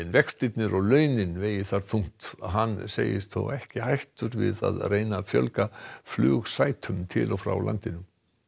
vextirnir og launin vegi þar þungt hann segist þó ekki hættur við að reyna að fjölga flugsætum til og frá landinu